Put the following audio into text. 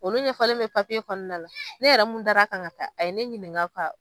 Olu ɲɛfɔlen bɛ papiye kɔnɔna na la, ne yɛrɛ mun dara kan ka taa ,a ye ne ɲininga ka